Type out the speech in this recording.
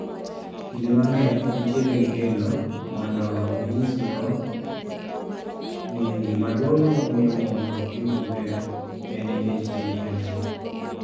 Kinde mang'eny intiere gi geno mondo ginyisgo ni gima duong' mamiyo mon ok dhi maber, en nikech gin kendgi.